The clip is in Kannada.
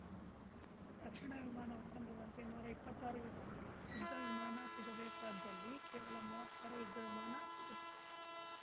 ರಕ್ಷಣಾ ವಿಮಾನ ಒಪ್ಪಂದದಂತೆ ನೂರಾ ಇಪ್ಪತ್ತಾರು ಯುದ್ಧ ವಿಮಾನ ಸಿಗಬೇಕಾಗದ್ದಲ್ಲಿ ಕೇವಲ ಮುವ್ವತ್ತಾರು ಯುದ್ಧ ವಿಮಾನ ಸಿಗುತ್ತಿವೆ